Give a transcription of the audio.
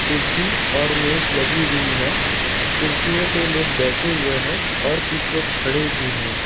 कुर्सी और मेज लगी हुई है कुर्सियों पे लोग बैठे हुए हैं और कुछ लोग खड़े भी हैं।